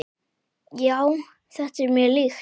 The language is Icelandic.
Já, þetta er mér líkt.